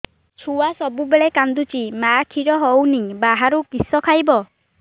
ଛୁଆ ସବୁବେଳେ କାନ୍ଦୁଚି ମା ଖିର ହଉନି ବାହାରୁ କିଷ ଖାଇବ